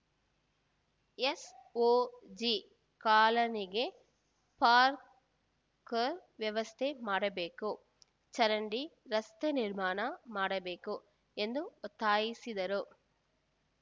SOG ಕಾಲನಿಗೆ park ವ್ಯವಸ್ಥೆ ಮಾಡಬೇಕು ಚರಂಡಿ ರಸ್ತೆ ನಿರ್ಮಾಣ ಮಾಡಬೇಕು ಎಂದು ಒತ್ತಾಯಿಸಿದರು